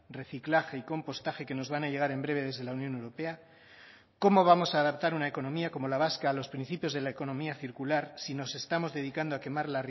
reciclaje y compostaje que nos van a llegar en breve desde la unión europea cómo vamos a adaptar una economía como la vasca a los principios de la economía circular si nos estamos dedicando a quemar